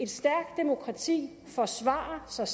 stærkt demokrati forsvarer sig